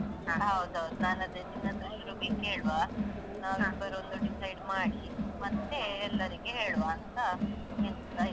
ಹೌದೌದು ನಾನದೆ ನಿನ್ನತ್ರ ಶುರುಗೆ ಕೇಳುವ ನಾವಿಬ್ಬರು ಒಂದು decide ಮಾಡಿ ಮತ್ತೆ ಎಲ್ಲರಿಗೆ ಹೇಳುವ ಅಂತ ಎಣಿಸ್ತಾ ಇದ್ದೆ.